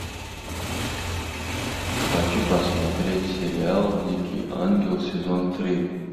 хочу посмотреть сериал дикий ангел сезон три